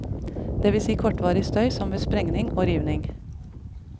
Det vil si kortvarig støy som ved sprengning og rivning.